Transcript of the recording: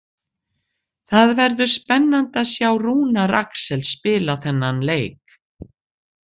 Það verður spennandi að sjá Rúnar Alex spila þennan leik.